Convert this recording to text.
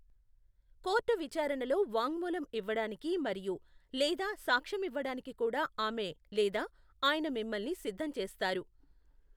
Court విచారణలో వాంగ్మూలం ఇవ్వడానికి మరియు, లేదా సాక్ష్యమివ్వడానికి కూడా ఆమె లేదా ఆయన మిమ్మల్ని సిద్ధం చేస్తారు.